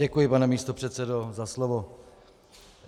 Děkuji, pane místopředsedo, za slovo.